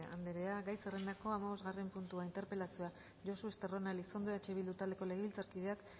andrea gai zerrendako hamabosgarren puntua interpelazioa josu estarrona elizondo eh bildu taldeko legebiltzarkideak